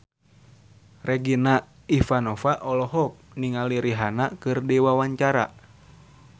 Regina Ivanova olohok ningali Rihanna keur diwawancara